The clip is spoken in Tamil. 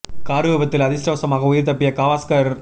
கார் விபத்தில் அதிர்ஷ்டவசமாக உயிர் தப்பிய கவாஸ்கர்